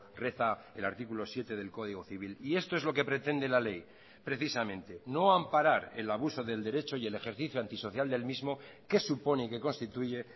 reza el artículo siete del código civil y esto es lo que pretende la ley precisamente no amparar el abuso del derecho y el ejercicio antisocial del mismo que supone que constituye